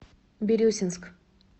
бирюсинск